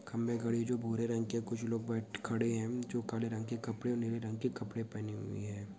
खंभे गड़े है जो भूरे रंग के है| कुछ लोग बैठ खड़े हैं जो काले रंग के कपड़े और नीले रंग के कपड़े पहने हुए हैं ।